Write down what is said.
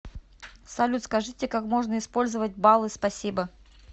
салют скажите как можно использовать баллы спасибо